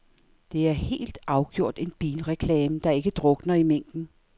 Det er helt afgjort en bilreklame, der ikke drukner i mængden.